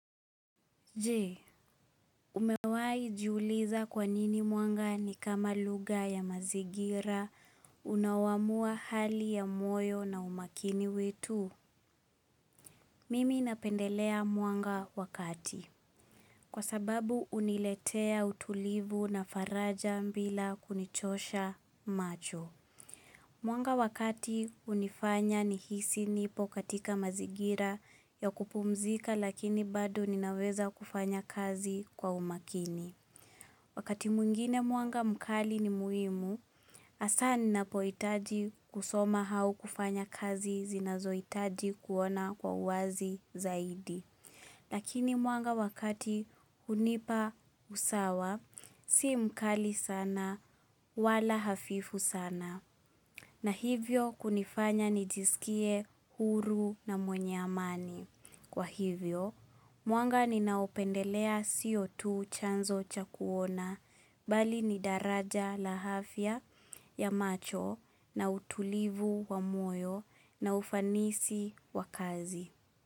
Jee, umewai jiuliza kwanini mwanga ni kama lugha ya mazigira unaoaamua hali ya moyo na umakini wetu? Mimi napendelea mwanga wa kati. Kwa sababu uniletea utulivu na faraja mbila kunichosha macho. Mwanga wakati hunifanya nihisi nipo katika mazigira ya kupumzika lakini bado ninaweza kufanya kazi kwa umakini. Wakati mwingine mwanga mkali ni muhimu, hasaa ninapoihtaji kusoma hau kufanya kazi zinazo itaji kuona kwa uwazi zaidi. Lakini mwanga wakati hunipa usawa, si mkali sana, wala hafifu sana. Na hivyo kunifanya nijisikie huru na mwenye amani. Kwa hivyo, mwanga ni naopendelea sio tu chanzo cha kuona bali ni daraja la afya ya macho na utulivu wa moyo na ufanisi wa kazi.